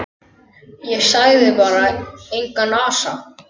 Og sagði bara: Engan asa.